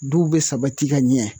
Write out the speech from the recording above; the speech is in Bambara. Duw bɛ sabati ka ɲɛ